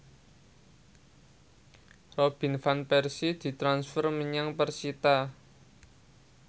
Robin Van Persie ditransfer menyang persita